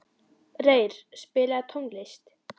Reyr, spilaðu tónlist.